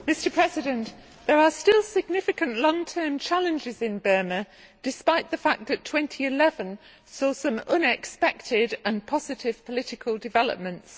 Mr President, there are still significant long term challenges in Burma despite the fact that 2011 saw some unexpected and positive political developments.